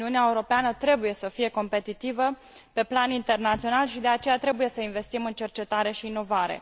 Uniunea Europeană trebuie să fie competitivă pe plan internațional și de aceea trebuie să investim în cercetare și inovare.